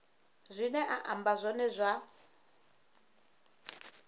zwine a amba zwone zwa